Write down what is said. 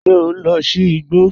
Ṣé ọ n lọ sí ìgbò?